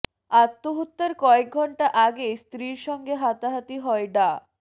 আত্মহত্যার কয়েক ঘণ্টা আগে স্ত্রীর সঙ্গে হাতাহাতি হয় ডা